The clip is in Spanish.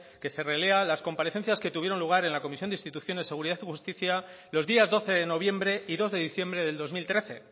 que se relea las comparecencias que tuvieron lugar en la comisión de instituciones seguridad y justicia los días doce de noviembre y dos de diciembre del dos mil trece